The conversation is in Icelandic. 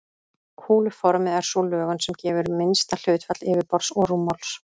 Kúluformið er sú lögun sem gefur minnsta hlutfall yfirborðs og rúmmáls.